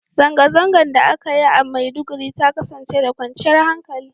Zangazangan da a ka Yi a maiduguri ta kasance da kwanchiyar hankali